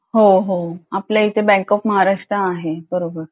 हो हो आपल्या इथे बँक ऑफ महाराष्ट्र आहे बरोबर